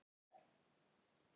En koma tímar.